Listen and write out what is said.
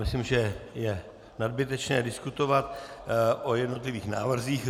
Myslím, že je nadbytečné diskutovat o jednotlivých návrzích.